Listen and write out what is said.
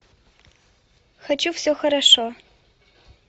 хочу все хорошо